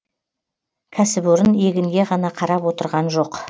кәсіпорын егінге ғана қарап отырған жоқ